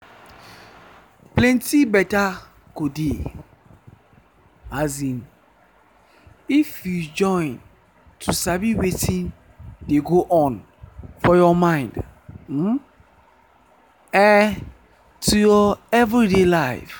plenty better go dey um if you join to sabi wetin dey go on for your mind um eh to your everyday life.